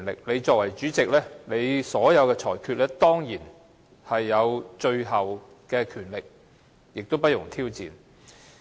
你作為主席，當然有權作最終裁決，亦不容受到挑戰。